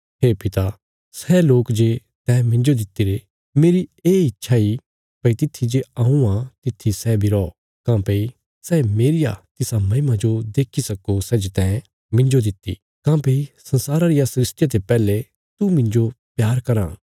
हे पिता सै लोक जे तैं मिन्जो दित्तिरे मेरी ये इच्छा इ भई तित्थी जे हऊँ आ तित्थी सै बी रौ काँह्भई सै मेरिया तिसा महिमा जो देक्खी सक्को सै जे तैं मिन्जो दित्ति काँह्भई संसारा रिया सृष्टिया ते पैहले तू मिन्जो प्यार कराँ था